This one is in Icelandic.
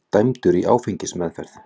Dæmdur í áfengismeðferð